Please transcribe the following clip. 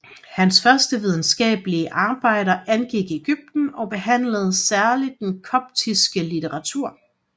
Hans første videnskabelige arbejder angik Ægypten og behandlede særlig den koptiske litteratur